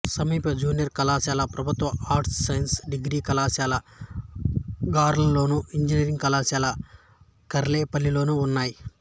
సమీప జూనియర్ కళాశాల ప్రభుత్వ ఆర్ట్స్ సైన్స్ డిగ్రీ కళాశాల గార్లలోను ఇంజనీరింగ్ కళాశాల కారేపల్లిలోనూ ఉన్నాయి